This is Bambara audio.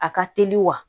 A ka teli wa